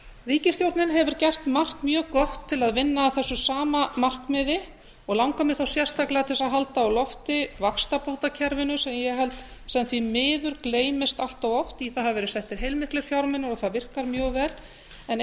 ríkisstjórnin hefur gert margt mjög gott til að vinna að þessu sama markmiði og langar mig sérstaklega til þess að halda á lofti vaxtabótakerfinu sem ég held sem því miður gleymist allt oft í það hafa verið settir heilmiklir fjármunir og það virkar mjög vel en